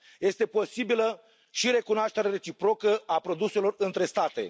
Este posibilă și recunoașterea reciprocă a produselor între state.